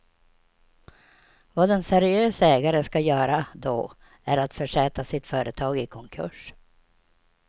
Vad en seriös ägare ska göra då är att försätta sitt företag i konkurs.